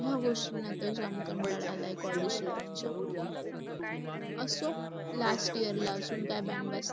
ह्या गोष्टीला तर जाम कंटाळा आलाय collage life चा. असो last year ला काही